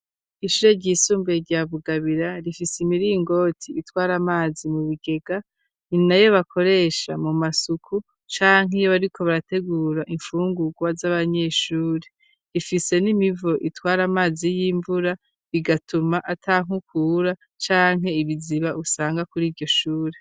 Ishure ry'isumbuye rya bugabira rifise imiringoti itwara amazi mu bigega nina yo bakoresha mu masuku canke iyo ariko barategura infungukwa z'abanyeshuri rifise n'imivo itwara amazi y'imvura bigatuma atankukura canke ibiziba usanga kuri iryoshuri.